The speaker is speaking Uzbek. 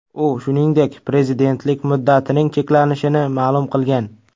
U, shuningdek, prezidentlik muddatining cheklashini ma’lum qilgan.